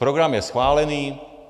Program je schválený.